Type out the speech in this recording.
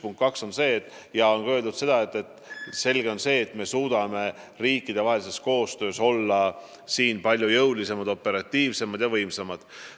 Punkt 2 on see, et loomulikult me suudame riikidevahelist koostööd tehes olla palju operatiivsemad ja võimsamad.